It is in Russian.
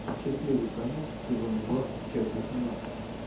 счастливый конец сезон два часть восемнадцать